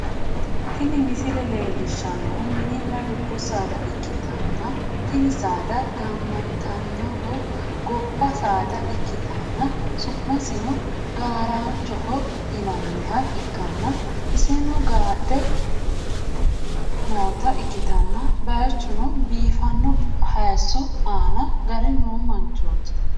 tini misile leellishshannohu mininna dubbu saada ikkitanna, tini saada gaamantannohu gobba saada ikkitanna, su'masino gaaranchoho yinanniha ikkanna, iseno gadhe noota ikkitanna ,bayichunni biifanno hayiiso aana gare no manchooti.